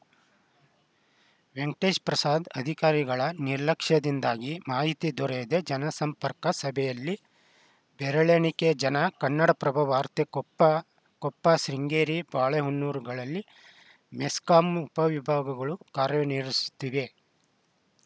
ವೆಂಕಟೇಶಪ್ರಸಾದ್‌ ಅಧಿಕಾರಿಗಳ ನಿರ್ಲಕ್ಷದಿಂದಾಗಿ ಮಾಹಿತಿ ದೊರೆಯದೇ ಜನಸಂಪರ್ಕ ಸಭೆಯಲ್ಲಿ ಬೆರಳೆಣಿಕೆ ಜನ ಕನ್ನಡಪ್ರಭ ವಾರ್ತೆ ಕೊಪ್ಪ ಕೊಪ್ಪ ಶೃಂಗೇರಿ ಬಾಳೆಹೊನ್ನೂರುಗಳಲ್ಲಿ ಮೆಸ್ಕಾಂ ಉಪವಿಭಾಗಗಳು ಕಾರ್ಯಾನಿರ್ಹಿಹಿಸುತ್ತಿವೆ